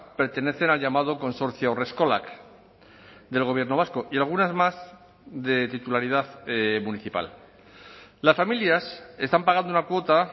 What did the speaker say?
pertenecen al llamado consorcio haurreskolak del gobierno vasco y algunas más de titularidad municipal las familias están pagando una cuota